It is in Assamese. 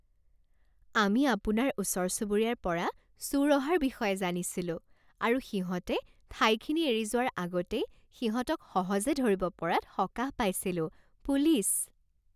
আমি আপোনাৰ ওচৰ চুবুৰীয়াৰ পৰা চোৰ অহাৰ বিষয়ে জানিছিলোঁ আৰু সিহঁতে ঠাইখিনি এৰি যোৱাৰ আগতেই সিহঁতক সহজে ধৰিব পৰাত সকাহ পাইছিলোঁ। পুলিচ